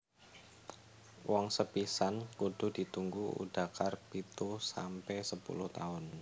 Woh sepisan kudu ditunggu udakar pitu sampe sepuluh taun